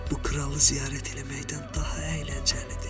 Bu kralı ziyarət eləməkdən daha əyləncəlidir.